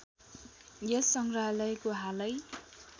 यस सङ्ग्रहालयको हालै